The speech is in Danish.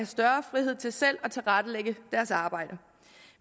større frihed til selv at tilrettelægge deres arbejde